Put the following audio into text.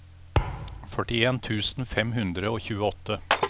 førtien tusen fem hundre og tjueåtte